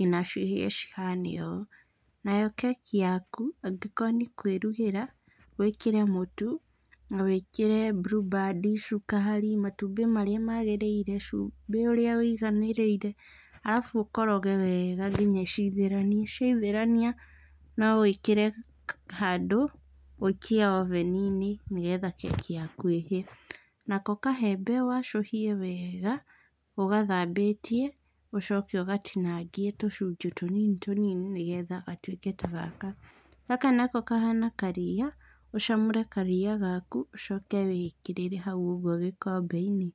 nginya cihane ũũ, nayo keki yaku, angĩkorwo nĩkũĩrugĩra, wĩkĩre mũtu na wikire Blueband, cukari, matumbĩ marĩa magĩrĩire, cumbĩ ũrĩa wũiganĩire arafu ũkoroge wega nginya cithĩrane, ciaithĩrana no wĩkĩre handũ ũikie oven inĩ nĩ getha keki yaku ĩhĩe. Nako kaembe wacũhie wega ũgathambĩtie, ũcoke ũgatinangie tucunjĩ tũnini tũnini nĩ getha gatuĩke ta gaka. Gaka nako kahana karia, ũcamũre karia gaku ucoke ũigĩrĩre hau ũguo gikombe-inĩ.